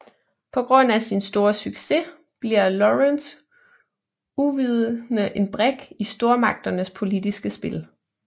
På grund af sin store succes bliver Lawrence uvidende en brik i stormagternes politiske spil